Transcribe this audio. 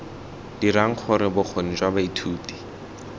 dirang gore bokgoni jwa baithuti